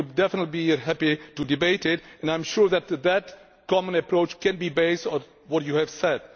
We would definitely be happy to debate it, and I am sure that this common approach can be based on what you have said.